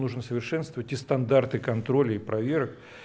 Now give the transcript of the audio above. нужно совершенствовать и стандарты контроля и проверок